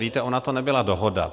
Víte, ona to nebyla dohoda.